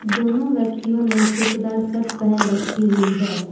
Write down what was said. दोनों व्यक्तियों ने चेक दार शर्ट पहन रखी हुई है।